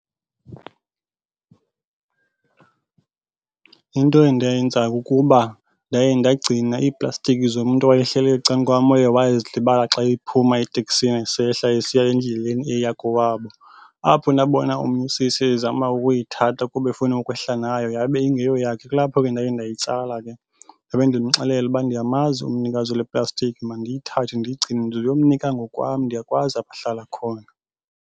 Into endayenzayo kukuba ndaye ndagcina iiplastiki zomntu owayehleli ecang'kwam owaye wazilibala xa ephuma eteksini esehla esiya endleleni eya kowabo. Apho ndabona omnye usisi ezama ukuyithatha kuba efuna ukwehla nayo yabe ingeyo yakhe. Kulapho ke ndaye ndayitsala ke ndabe ndimxelela uba ndiyamazi umnikazi wale plastiki mandiyithathe ndiyigcine ndizoyomnika ngokwam ndiyakwazi apho ahlala khona.